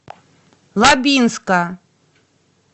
лабинска